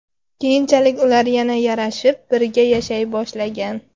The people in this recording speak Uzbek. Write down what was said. Keyinchalik ular yana yarashib, birga yashay boshlagan.